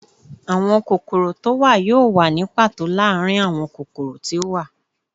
Awọn kokoro to wa yoo wa ni pato laarin awọn kokoro ti o wa